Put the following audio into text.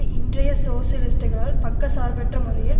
இன்றைய சோசலிஸ்டுகளால் பக்கச்சார்பற்ற முறையில்